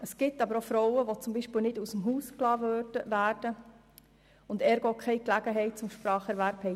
Es gibt auch Frauen, die beispielsweise nicht aus dem Haus gelassen werden und deshalb keine Gelegenheit zum Spracherwerb haben.